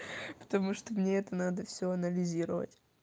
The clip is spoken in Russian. потому что мне это надо всё анализировать